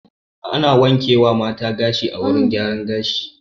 Ana wanke wa mata gashi a wurin gyaran gashi